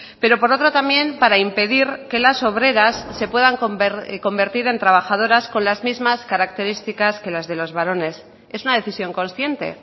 pero por otro también para impedir que las obreras se puedan convertir en trabajadoras con las mismas características que las de los varones es una decisión consciente